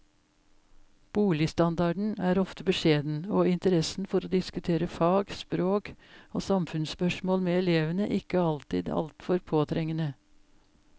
Boligstandarden er ofte beskjeden, og interessen for å diskutere fag, språk og samfunnsspørsmål med elevene ikke alltid altfor påtrengende.